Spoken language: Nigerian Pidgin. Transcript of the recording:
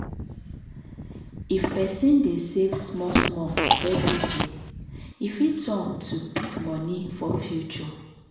if person dey save small small every day e fit turn to big money for future.